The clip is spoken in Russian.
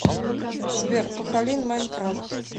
сбер пахалин майнкрафт